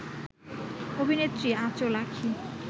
অভিনেত্রী: আঁচল আঁখি